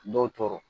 Dɔw tɔɔrɔ